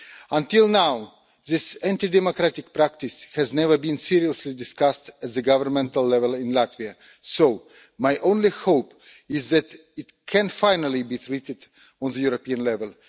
Until now, this anti-democratic practice has never been seriously discussed at governmental level in Latvia so my only hope is that it can finally be addressed at European level.